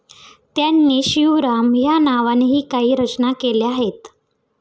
त्यांनी शिवराम या नावानेही काही रचना केल्या आहेत.